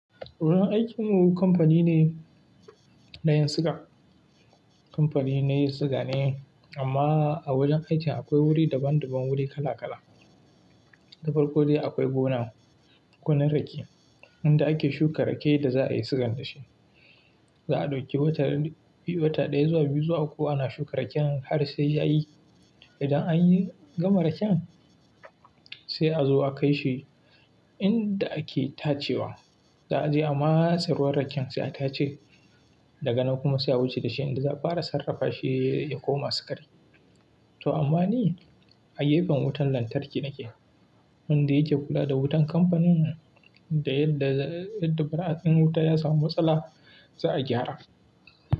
Wajen aikin mu kamfani ne na yin suga. Kamfani na yin siga ne amma a wajen aiki akwai wuri daban-daban, wuri kala-kala. Dabar kodaya akwai gona, gonar rake, inda ake shuka raken da za a yi suga daga shi. Za a ɗauki wata ɗaya zuwa biyu zuwa uku ana shuka raken har sai ya yi. Idan anyi gama raken sai a zo a kai shi inda ake tacewa. Za a je amasarwar raken sai a tace daga nan kuma sai a wuce da shi inda za a fara sarrafa shi ya koma sukari. To amma ni a yayafin wutan lantarki nake, wanda yake kula da wutan kamfanin nan. Idan yadda ɗa ɗa ɓeraƙin wuta ya samu matsala za a gyara.